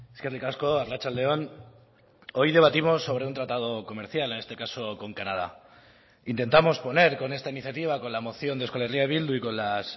eskerrik asko arratsalde on hoy debatimos sobre un tratado comercial en este caso con canadá intentamos poner con esta iniciativa con la moción de euskal herria bildu y con las